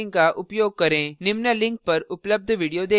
निम्न link पर उपलब्ध video देखें